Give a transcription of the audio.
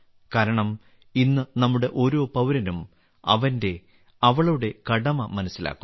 കാരണം ഇന്ന് നമ്മുടെ ഓരോ പൌരനും അവന്റെഅവളുടെ കടമ മനസ്സിലാക്കുന്നു